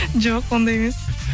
жоқ ондай емес